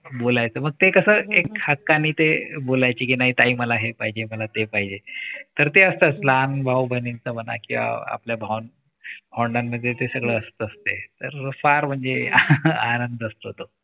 बोलायचं मग ते कस एक हक्काने ते बोलायची कि नाही ताई मला हेच पाहिजे. मला तेच पाहिजे. तर ते असतंच म्हणा लहान भाव बहिणीचं म्हणा किंवा आपल्या भाव वंडांमध्ये ते सगळं असतंच. ते तर फार म्हणजे आनंद असतो. तो